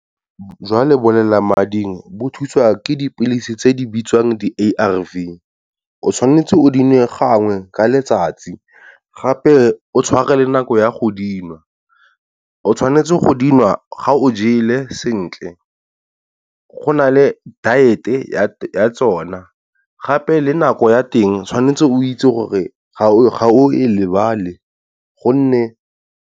Jwa lebolelamading bo thusa ke dipilisi tse di bitswang di ARV o tshwanetse o di nwe gangwe ka letsatsi. Gape o tshware le nako ya go dinwa o tshwanetse go dinwa ga o jele sentle, go nale diet e ya tsona gape le nako ya teng tshwanetse o itse gore ga o e lebale gonne.